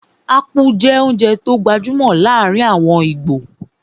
Ápú jẹ́ oúnjẹ tó gbajúmọ̀ láàrin àwọn íbò